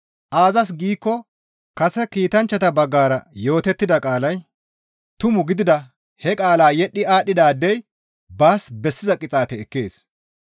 Aazas giikko kase kiitanchchata baggara yootettida qaalay tumu gidida he qaalaa yedhdhi aadhdhiday baas bessiza qixaate ekkees.